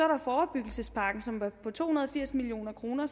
der forebyggelsespakken som er på to hundrede og firs million kroner